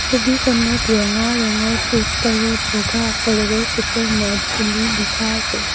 ছবিখনত ৰঙা ৰঙৰ পষ্টাৰত বগা আখৰেৰে চুপাৰ নেট বুলি লিখা আছে।